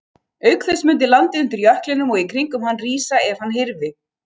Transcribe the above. Auk þess mundi landið undir jöklinum og í kringum hann rísa ef hann hyrfi.